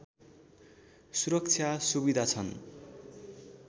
सुरक्षा सुविधा छन्